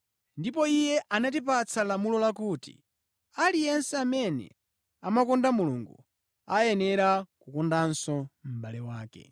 Ndipo Iye anatipatsa lamulo lakuti: Aliyense amene amakonda Mulungu ayenera kukondanso mʼbale wake.